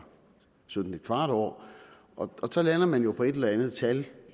17¼ år og så lander man jo på et eller andet tal